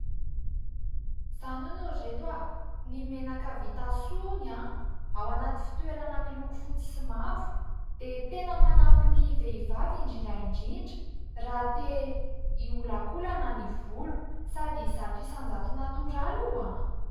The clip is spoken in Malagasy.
Zany hono ry ireto! Ny menaka vita Soa hono ao anaty fitoerana miloko fotsy sy mavo dia tena manampy ny vehivavy indrindraindrindra raha tia iolakolaka ny volo sady zato isan-jato "natoraly" io!